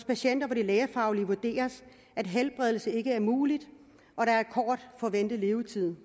patienter hvor det lægefagligt vurderes at helbredelse ikke er mulig og der er kort forventet levetid